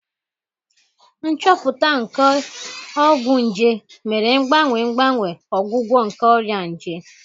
Nchọpụta nke ọgwụ nje mere mgbanwe mgbanwe ọgwụgwọ nke ọrịa nje